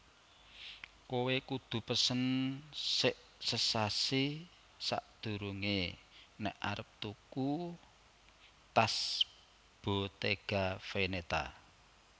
Kowe kudu pesen sek sesasi sakdurunge nek arep tuku tas Bottega Veneta